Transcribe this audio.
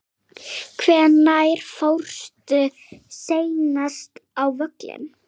Hvenær fórstu seinast á völlinn?